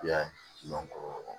I y'a ye